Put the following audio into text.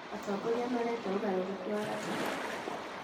Atongoria marenda ũgarũrũku wa gatiba